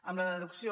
amb la reducció